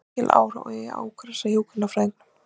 Mikill áhugi á úkraínska hjúkrunarfræðingnum